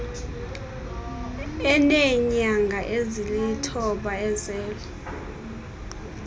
eneenyanga ezilithoba ezelwe